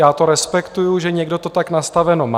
Já to respektuji, že někdo to tak nastaveno má.